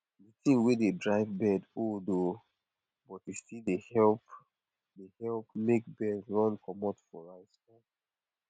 the thing wey de drive bird old oo but e still dey help dey help make bird run comot for rice farm